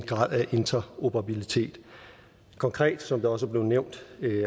grad af interoperabilitet konkret som det også er blevet nævnt